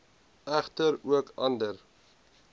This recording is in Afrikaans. egter ook ander